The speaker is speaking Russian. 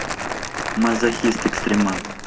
мазохист экстримал